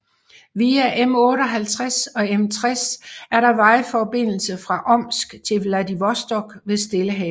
Via M58 og M60 er der vejforbindelse fra Omsk til Vladivostok ved Stillehavet